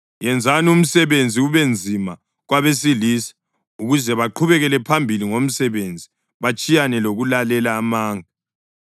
Yenzani umsebenzi ubenzima kwabesilisa ukuze baqhubekele phambili ngomsebenzi batshiyane lokulalela amanga.”